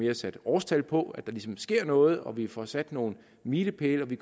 er sat årstal på så der sker noget og vi får sat nogle milepæle